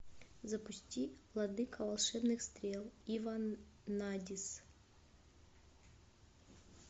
запусти владыка волшебных стрел и ванадис